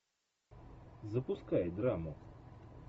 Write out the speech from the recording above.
запускай драму